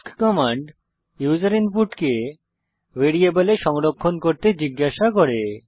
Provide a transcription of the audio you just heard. ask command user ইনপুটকে ভ্যারিয়েবলে সংরক্ষণ করতে জিজ্ঞাসা করে